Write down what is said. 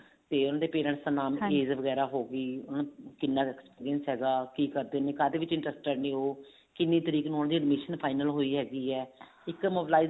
ਤੇ ਉਹਨਾ ਦੇ parents ਦਾ ਨਾਮ ਕੀ ਹੈ ਵਗੇਰਾ ਹੋਗੀ ਕਿੰਨਾ ਕੁ experience ਹੈਗਾ ਕੀ ਕਰਦੇ ਨੇ ਕਾਹਦੇ ਵਿੱਚ interested ਨੇ ਉਹ ਕਿੰਨੀ ਟ੍ਰਿਕ ਨੂੰ ਉਹਨਾ ਦੀ admission final ਹੋਈ ਹੈਗੀ ਹੈ ਇੱਕ mobilizer